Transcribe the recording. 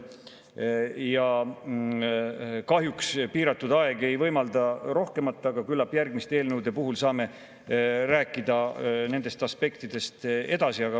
Kahjuks piiratud aeg ei võimalda rohkemat, aga küllap järgmiste eelnõude puhul saame rääkida nendest aspektidest edasi.